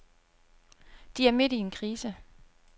De er midt i en krise.